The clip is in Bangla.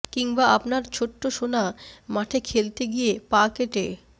কিংবা আপনার ছোট্ট সোনা মাঠে খেলতে গিয়ে পা কেটে